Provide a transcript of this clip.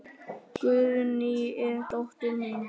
Guðný er dóttir mín.